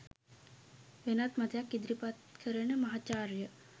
වෙනත් මතයක් ඉදිරිපත් කරන මහාචාර්ය